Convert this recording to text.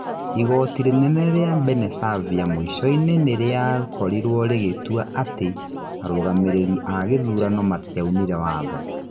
Igoti rĩnene rĩa Mbenesavia mũico-inĩ rĩa korirwo rĩgĩtua ati arũgamĩrĩri a gĩthurano matiaunire watho.